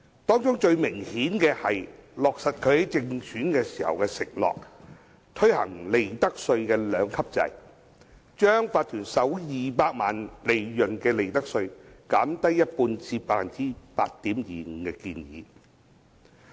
當中最明顯的是落實她在競選時的承諾，推行利得稅兩級制，把企業首200萬元利潤的利得稅減低一半至 8.25% 的建議。